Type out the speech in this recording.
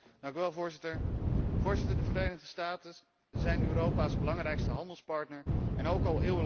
De Verenigde Staten zijn Europa's belangrijkste handelspartner en ook al eeuwenlang onze grootste vrienden.